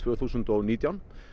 þúsund og nítján